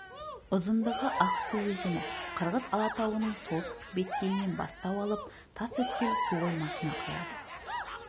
ұзындығы ақсу өзені қырғыз алатауының солтүстік беткейінен бастау алып тасөткел су қоймасына құяды